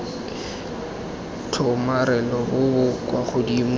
tshomarelo bo bo kwa godimo